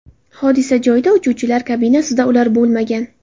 Hodisa joyida uchuvchilar kabinasida ular bo‘lmagan.